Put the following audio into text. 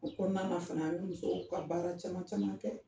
O kɔnɔna na fana an bɛ musow ka baara caman caman kɛ